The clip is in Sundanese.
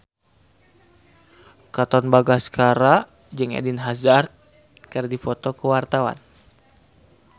Katon Bagaskara jeung Eden Hazard keur dipoto ku wartawan